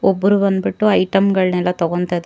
ಒಬ್ಬರು ಬಂದ್ಬಿಟ್ಟು ಐಟಂಗಳನ್ನೆಲ್ಲಾ ತಗೊಂತಾ ಇದ್ದಾರೆ.